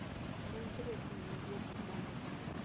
что интересного есть в детской комнате